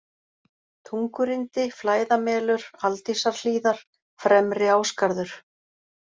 Tungurindi, Flæðamelur, Aldísarhlíðar, Fremri-Ásgarður